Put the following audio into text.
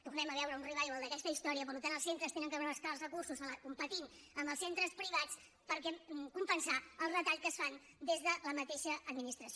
tornem a veure un revival d’aquesta història per tant els centres han d’anar a buscar els recursos competint amb els centres privats per compensar els retalls que es fan des de la mateixa administració